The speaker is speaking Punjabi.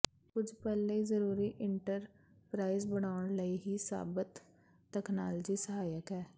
ਕੁਝ ਪਲ ਲਈ ਜ਼ਰੂਰੀ ਇੰਟਰਪਰਾਈਜ਼ ਬਣਾਉਣ ਲਈ ਹੀ ਸਾਬਤ ਤਕਨਾਲੋਜੀ ਸਹਾਇਕ ਹੈ